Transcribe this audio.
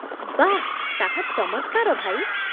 ବାଃ ! ତାହା ଚମତ୍କାର, ଭାଇ